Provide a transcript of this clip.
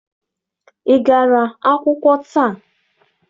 Ị gara akwụkwọ taa?